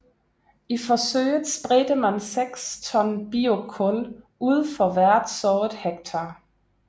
I forsøget spredte man seks ton biokul ud for hvert sået hektar